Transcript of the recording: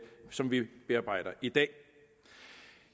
som vi bearbejder i dag